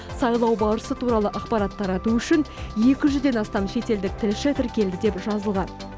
сайлау барысы туралы ақпарат тарату үшін екі жүзден астам шетелдік тілші тіркелді деп жазылған